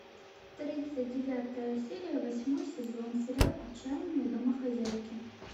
тридцать девятая серия восьмой сезон сериал отчаянные домохозяйки